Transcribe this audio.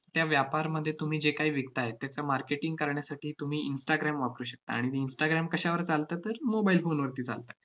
त्या व्यापारमध्ये तुम्ही जे काही विकताय, त्याचं marketing करण्यासाठी तुम्ही instagram वापरू शकता. आणि instagram कशावर चालतं? तर mobile phone वरती चालतं.